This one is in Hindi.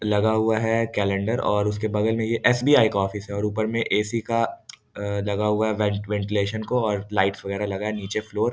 लगा हुआ है कैलेंडर और उसके बगल में एक एसबीआई का ऑफिस है और ऊपर में एक एसी का लगा हुआ वेंटिलेशन कोऔर लाइट वगैरह लगा है नीचे फ्लोर --